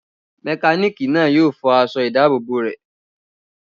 Mẹkánìkì náà yóò fọ aṣọ ìdábòbò rẹ̀